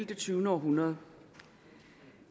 det tyvende århundrede